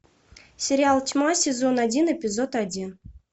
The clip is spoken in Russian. сериал тьма сезон один эпизод один